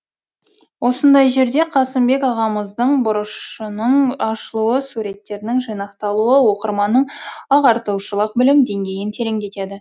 осындай жерде қасымбек ағамыздың бұрышының ашылуы суреттерінің жинақталуы оқырманның ағартушылық білім деңгейін тереңдетеді